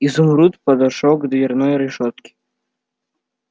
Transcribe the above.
изумруд подошёл к дверной решётке